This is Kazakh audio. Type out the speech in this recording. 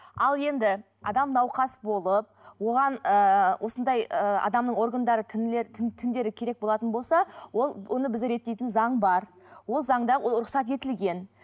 ал енді адам науқас болып оған ыыы осындай ы адамның органдары тіндері керек болатын болса ол оны біз реттейтін заң бар ол заңда ол рұқсат етілген